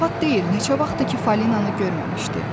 Zarafat deyil, neçə vaxtdır ki, Fəlinanı görməmişdi.